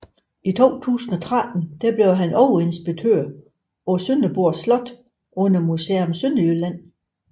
I 2013 blev han overinspektør på Sønderborg Slot under Museum Sønderjylland